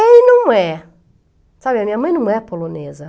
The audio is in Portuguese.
É e não é. Sabe, a minha mãe não é polonesa.